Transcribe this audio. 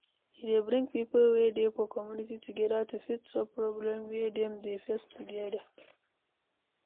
E dey bring pipo wey dey for community together to fit solve problem wey dem dey face together